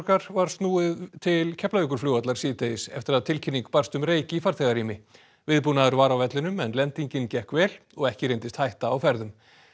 var snúið til Keflavíkurflugvallar síðdegis eftir að tilkynning barst um reyk í farþegarými viðbúnaður var á vellinum en lendingin gekk vel og ekki reyndist hætta á ferðum